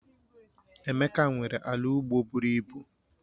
Emeka nwere ala ugbo buru ibu